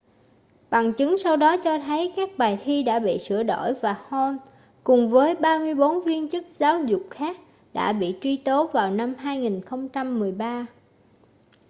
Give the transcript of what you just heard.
bằng chứng sau đó cho thấy các bài thi đã bị sửa đổi và hall cùng với 34 viên chức giáo dục khác đã bị truy tố vào năm 2013